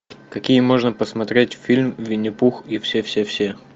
какие можно посмотреть фильм винни пух и все все все